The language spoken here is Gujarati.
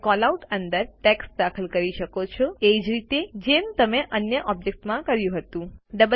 તમે કેલઆઉટ અંદર ટેક્સ્ટ દાખલ કરી શકો છો એ જ રીતે જેમ તમે અન્ય ઓબ્જેક્ત્સ માટે કર્યું હતું